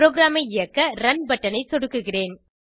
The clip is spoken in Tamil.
ப்ரோகிராமை இயக்க ரன் பட்டன் ஐ சொடுக்குகிறேன்